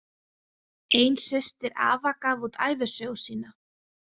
Ein systir afa gaf út ævisögu sína.